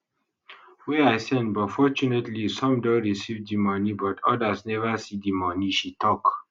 wey i send but fortunately some don receive di money but odas neva see di money she tok